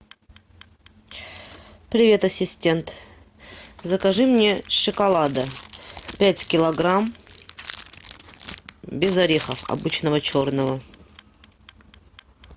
привет ассистент закажи мне шоколада пять килограмм без орехов обычного черного